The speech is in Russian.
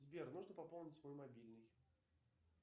сбер нужно пополнить мой мобильный